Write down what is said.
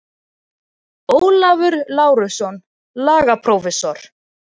Ólafur Lárusson, lagaprófessor.